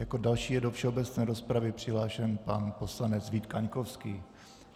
Jako další je do všeobecné rozpravy přihlášen pan poslanec Vít Kaňkovský.